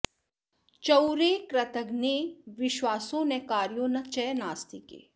चौरे कृतघ्ने विश्वासो न कार्यो न च नास्तिके